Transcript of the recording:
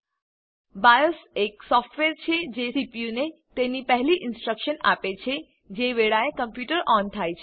BIOS એક software છે જે સીપીયુને તેની પહેલી ઇનસ્ટ્રકશન આપે છે જે વેળાએ કમ્પ્યુટર ઓન થાય છે